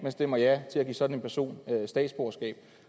stemmer ja til at give sådan en person statsborgerskab